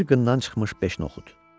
Bir qından çıxmış beş noxud.